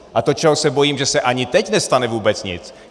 A to čeho se bojím, že se ani teď nestane vůbec nic.